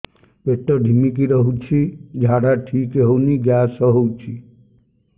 ପେଟ ଢିମିକି ରହୁଛି ଝାଡା ଠିକ୍ ହଉନି ଗ୍ୟାସ ହଉଚି